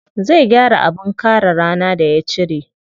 Zai gyara abin kare rana da ya cire.